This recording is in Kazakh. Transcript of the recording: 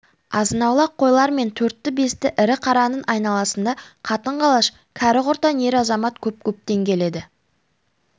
азынаулақ қойлар мен төртті-бесті ірі қараның айналасында қатын-қалаш кәрі-құртаң ер-азамат көп-көптен келеді